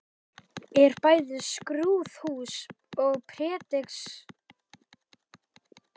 Er bæði skrúðhús og prédikunarstóll úr samskonar hellum og altarið.